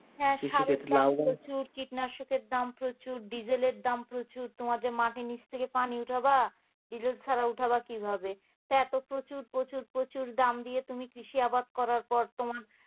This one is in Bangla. হ্যাঁ সারের দাম প্রচুর কীটনাশক এর দাম প্রচুর ডিজেলের দাম প্রচুর তোমার যে মাটি জিনিস থেকে পানি উঠাবা ডিজেল ছাড়া উঠাবা কিভাবে এত প্রচুর প্রচুর প্রচুর দাম দিয়ে তুমি কি কৃষি আবাদ করার পর তুমি